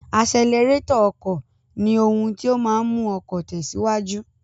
Asẹlẹrétọ̀ ọkọ ni ohun tí ó máa ń mú ọkọ̀ tẹ̀síwájú.